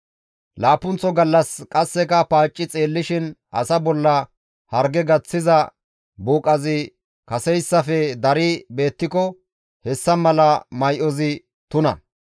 Laappunththo gallas qasseka paacci xeellishin asa bolla harge gaththiza buuqazi kaseyssafe dari beettiko hessa mala may7ozi tuna.